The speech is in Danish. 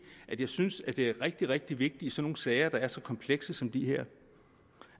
at jeg synes at det er rigtig rigtig vigtigt i sådan nogle sager der er så komplekse som den her